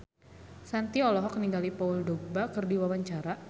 Shanti olohok ningali Paul Dogba keur diwawancara